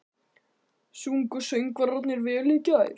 Sungu söngvararnir vel í gær?